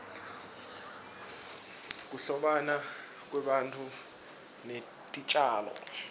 kuhlobana kwebantfu netitjalo